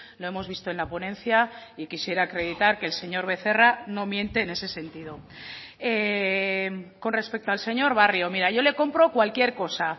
lo hemos visto en la ponencia y quisiera acreditar que el señor becerra no miente en ese sentido con respecto al señor barrio mira yo le compro cualquier cosa